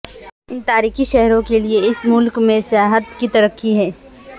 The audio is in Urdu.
ان تاریخی شہروں کے لئے اس ملک میں سیاحت کی ترقی ہے